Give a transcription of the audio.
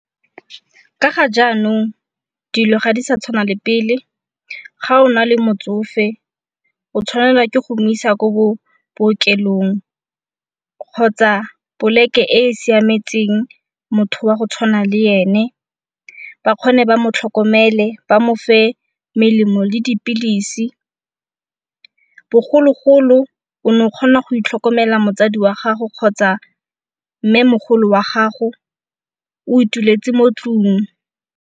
ka ga jaanong dilo ga di sa tshwana le pele ga o na le motsofe o tshwanela ke go mo isa ko bookelong kgotsa poleke e e siametseng motho wa go tshwana le ene, bakgone ba mo tlhokomele, ba mo fe melemo le dipilisi. Bogologolo o ne o kgona go itlhokomela motsadi wa gago kgotsa mme mogolo wa gago o ituletse mo tlung.